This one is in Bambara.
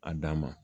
A dan ma